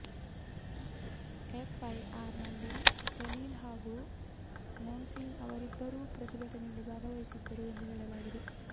FY R ನಲ್ಲಿ ಜಲೀಲ್ ಹಾಗೂ ನೌಸೀನ್ ಅವರಿಬ್ಬರೂ ಪ್ರತಿಭಟನೆಯಲ್ಲಿ ಭಾಗವಹಿಸಿದ್ದರು ಎಂದೂ ಹೇಳಲಾಗಿದೆ